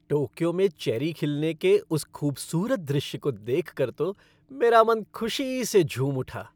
Tokyo में cherry खिलने के उस खूबसूरत दृश्य को देखकर तो मेरा मन खुशी से झूम उठा।